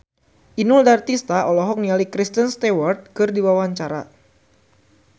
Inul Daratista olohok ningali Kristen Stewart keur diwawancara